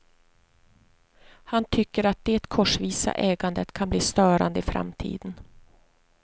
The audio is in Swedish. Han tycker att det korsvisa ägandet kan bli störande i framtiden.